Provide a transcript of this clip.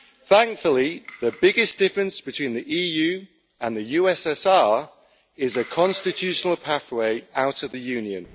Thankfully, the biggest difference between the EU and the USSR is a constitutional pathway out of the Union.